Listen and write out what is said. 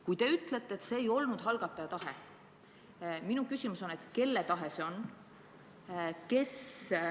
Kui te ütlete, et see ei olnud algataja tahe, siis minu küsimus on, et kelle tahe see oli.